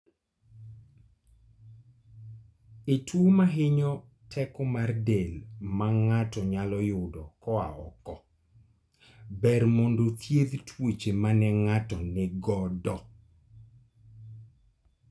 E tuo mahinyo teko mar del ma ng'ato nyalo yudo koa oko, ber mondo othiedh tuoche mane ng'ato nigodo